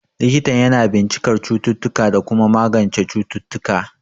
Likitan yana bincikar cututtuka da kuma magance cututtuka.